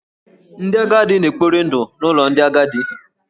Ndị agadi na-ekpori ndụ n’ụlọ ndị agadi.